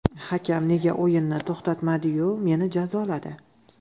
Hakam nega o‘yinni to‘xtatmadi-yu, meni jazoladi?